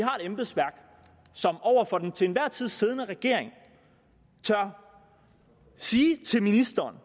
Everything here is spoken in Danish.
har et embedsværk som over for den til enhver tid siddende regering tør sige til ministeren